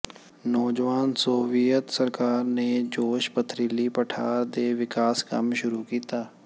ਨੌਜਵਾਨ ਸੋਵੀਅਤ ਸਰਕਾਰ ਨੇ ਜੋਸ਼ ਪੱਥਰੀਲੀ ਪਠਾਰ ਦੇ ਵਿਕਾਸ ਕੰਮ ਸ਼ੁਰੂ ਕੀਤਾ